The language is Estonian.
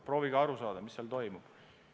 Proovige aru saada, mis seal toimub.